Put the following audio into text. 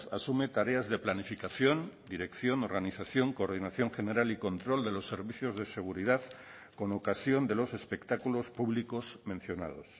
asume tareas de planificación dirección organización coordinación general y control de los servicios de seguridad con ocasión de los espectáculos públicos mencionados